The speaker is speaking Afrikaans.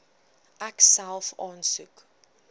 ek self aansoek